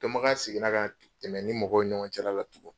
Dɔnbagaya seginna ka tɛmɛ ni mɔgɔ ɲɔgɔn cɛla la tugun.